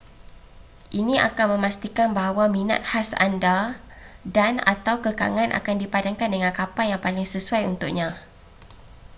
ini akan memastikan bahawa minat khas anda dan/atau kekangan akan dipadankan dengan kapal yang paling sesuai untuknya